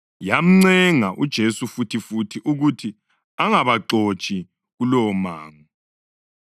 Yamncenga uJesu futhifuthi ukuthi angabaxotshi kulowomango.